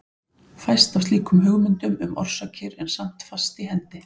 Fæst af slíkum hugmyndum um orsakir er samt fast í hendi.